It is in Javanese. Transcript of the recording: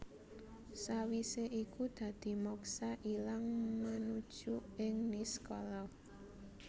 Sawisé iku dadi moksa ilang manuju ing niskala